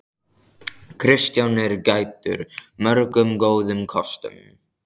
Kristján er gæddur mörgum góðum kostum.